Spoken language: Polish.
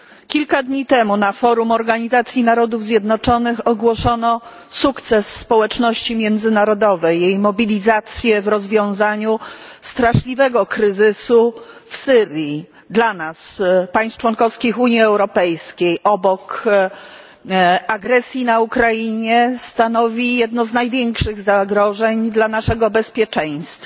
Kilka dni temu na forum Organizacji Narodów Zjednoczonych ogłoszono sukces społeczności międzynarodowej, jej mobilizację w rozwiązaniu straszliwego kryzysu w Syrii. Dla nas, państw członkowskich Unii Europejskiej, obok agresji na Ukrainie kryzys ten stanowi jedno z największych zagrożeń dla naszego bezpieczeństwa.